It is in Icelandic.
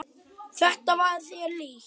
Þetta var þér líkt.